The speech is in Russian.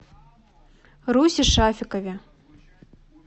русе шафикове